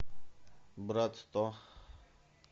брат то